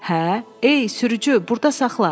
Hə, ey sürücü, burda saxla.